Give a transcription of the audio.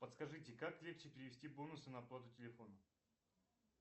подскажите как легче перевести бонусы на оплату телефона